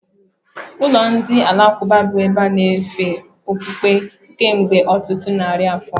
Ụlọ ndi alakụba abụwo ebe a na-anọ efe okpukpe kemgbe ọtụtụ narị afọ